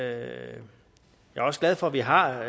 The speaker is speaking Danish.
er også glad for at vi har